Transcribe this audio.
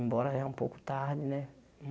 Embora já um pouco tarde, né?